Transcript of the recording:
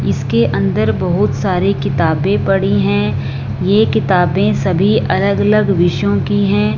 इसके अंदर बहोत सारी किताबें पड़ी हैं ये किताबें सभी अलग अलग विषयों की हैं।